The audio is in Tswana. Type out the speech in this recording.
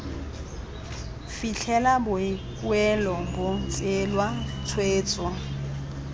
fitlhela boikuelo bo tseelwa tshwetso